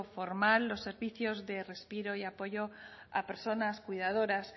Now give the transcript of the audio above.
formal los servicios de respiro y apoyo a personas cuidadoras